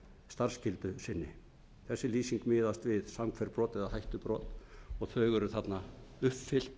starfsskyldu sinni þessi lýsing miðast við samhverft brot eða hættubrot og þau eru þarna uppfyllt